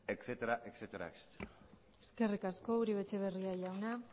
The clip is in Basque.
etcétera eskerrik asko uribe etxebarria jauna